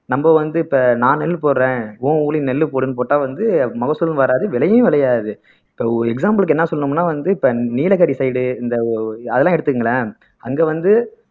நம்ம வந்து இப்ப நான் நெல்லு போடுறேன் உன் ஊர்லயும் நெல்லு போடுன்னு போட்டா வந்து மகசூலும் வராது விளையும் விளையாது இப்ப example க்கு என்ன சொல்லணும்னா வந்து இப்ப நீலகிரி side இந்த அதெல்லாம் எடுத்துக்கங்களேன் அங்க வந்து